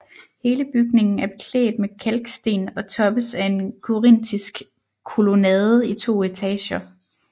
Hele bygningen er beklædt med kalksten og toppes af en korinthisk kolonnade i 2 etager